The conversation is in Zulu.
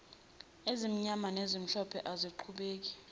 ezimnyama nezimhlophe asiqhubeke